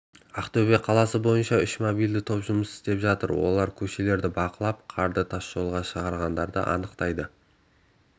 ақтөбе қаласы бойынша үш мобильді топ жұмыс істеп жатыр олар көшелерді бақылап қарды тасжолға шығарғандарды анықтайды